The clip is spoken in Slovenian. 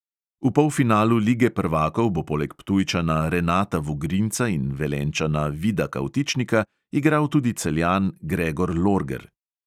V polfinalu lige prvakov bo poleg ptujčana renata vugrinca in velenjčana vida kavtičnika igral tudi celjan gregor lorger.